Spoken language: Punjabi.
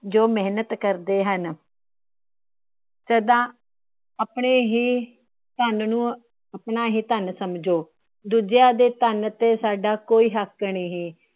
ਜੋ ਮੇਹਨਤ ਕਰਦੇ ਹਨ। ਸਦਾ ਆਪਣੇ ਹੀ ਧੰਨ ਨੂੰ ਆਪਣਾ ਹੀ ਧੰਨ ਸਮਝੋ। ਦੂਜਿਆਂ ਦੇ ਧੰਨ ਤੇ ਸਾਡਾ ਕੋਈ ਹੱਕ ਨਹੀਂ।